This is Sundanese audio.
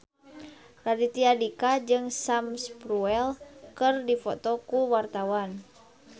Raditya Dika jeung Sam Spruell keur dipoto ku wartawan